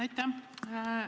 Aitäh!